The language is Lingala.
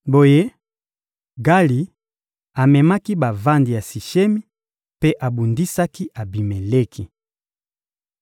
Boye, Gali amemaki bavandi ya Sishemi mpe abundisaki Abimeleki.